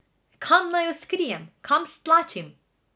Kam naj jo skrijem, kam stlačim?